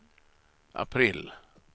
april